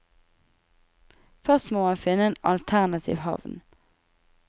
Først må man finne en alternativ havn.